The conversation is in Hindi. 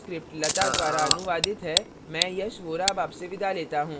यह स्क्रिप्ट लता द्वारा अनुवादित है मैं यश वोरा अब आपसे विदा लेता हूँ